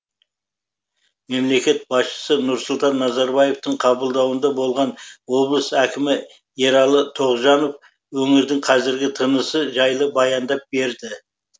мемлекет басшысы нұрсұлтан назарбаевтың қабылдауында болған облыс әкімі ералы тоғжанов өңірдің қазіргі тынысы жайлы баяндап берді